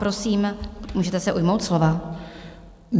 Prosím, můžete se ujmout slova.